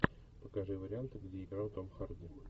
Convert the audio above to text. покажи варианты где играл том харди